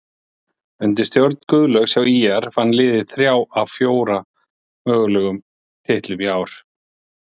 Undir stjórn Guðlaugs hjá ÍR vann liðið þrjá af fjóra mögulegum titlum í ár.